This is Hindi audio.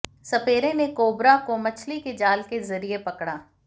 सपेरे ने कोबरा को मछली के जाल के ज़रिए पकड़ा